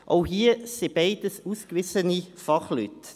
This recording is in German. Auch hier: Beide sind ausgewiesene Fachleute.